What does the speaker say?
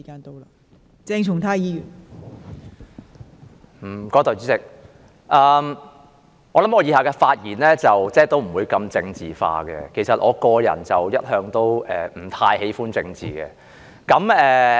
代理主席，相信我以下的發言不會太政治化，其實我個人一向也不太喜歡政治。